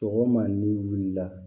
Sɔgɔma n'i wulila